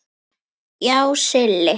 Já, Silli.